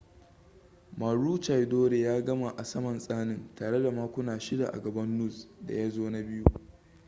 maroochydore ya gama a saman tsanin tare da makuna shida a gaban noose da ya zo na biyu